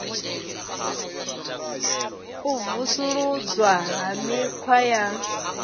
u vusuludzwa ha mikhwa ya